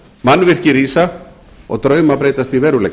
mannvirki rísa og drauma breytast í veruleika